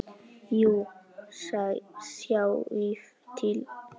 Jú, sjáið til.